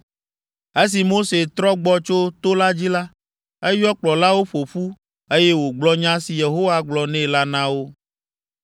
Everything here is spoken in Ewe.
Esi Mose trɔ gbɔ tso to la dzi la, eyɔ kplɔlawo ƒo ƒu, eye wògblɔ nya si Yehowa gblɔ nɛ la na wo.